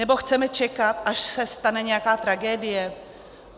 Nebo chceme čekat, až se stane nějaká tragédie?